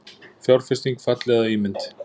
Fjárfesting falli að ímynd